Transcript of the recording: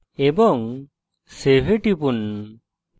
এবং save এ টিপুন